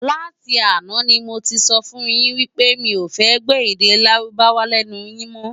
Láti àná ni mó ti sòfún yin pé mi ó fè gbò èdè Lárúbáwá lènú yin mò